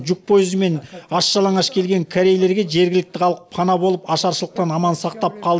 жүк пойызымен аш жалаңаш келген корейлерге жергілікті халық пана болып ашаршылықтан аман сақтап қал